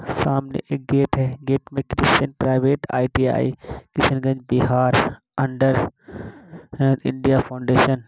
सामने एक गेट है। गेट में Krishan private ITI Kishanganj Bihar under India foundation --